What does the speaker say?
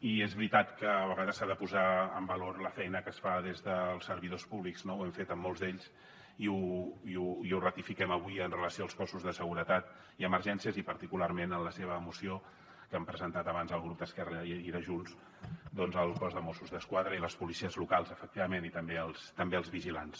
i és veritat que a vegades s’ha de posar en valor la feina que es fa des dels servidors públics no ho hem fet a molts d’ells i ho ratifiquem avui amb relació als cossos de seguretat i emergències i particularment en la seva moció que han presentat abans el grup d’esquerra i de junts doncs al cos de mossos d’esquadra i les policies locals efectivament i també als vigilants